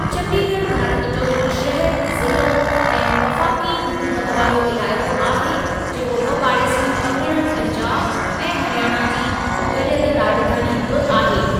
चंडीगढ़ भारत जो हिकु शहरु, ज़िलो ऐं वफ़ाक़ी हुकूमत वारो इलाइक़ो आहे जेको ॿ पाड़ेसरी परगि॒णनि पंजाब ऐं हरियाणा जी गडि॒यलु राज॒धानी बि आहे।